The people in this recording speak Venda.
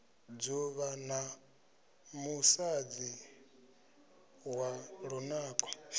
dzuvha na musadzi wa lunako